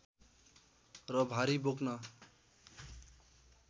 र भारी बोक्न